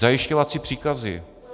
Zajišťovací příkazy.